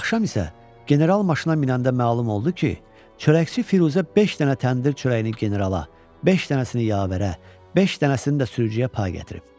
Axşam isə general maşına minəndə məlum oldu ki, çörəkçi Firuzə beş dənə təndir çörəyini generala, beş dənəsini yavərə, beş dənəsini də sürücüyə pay gətirib.